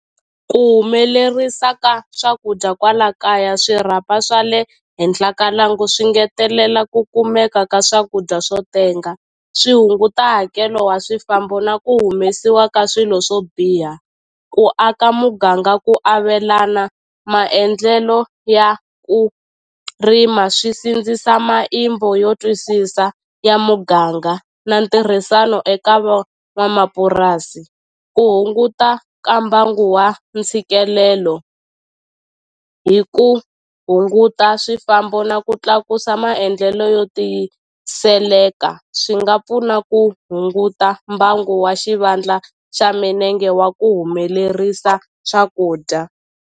Ku humelerisa ka swakudya kwala kaya swirhapa swa le henhla ka lwangu swi ngetelela ku kumeka ka swakudya swo tenga swi hunguta hakelo wa swifambo na ku humesiwa ka swilo swo biha ku aka muganga ku avelana maendlelo ya ku rima swi sindzisa yo twisisa ya muganga na ntirhisano eka van'wamapurasi ku hunguta ka mbangu wa ntshikelelo hi ku hunguta swifambo na ku tlakusa maendlelo yo tiyiseleka swi nga pfuna ku hunguta mbangu wa xivandla xa minenge wa ku humelerisa swakudya.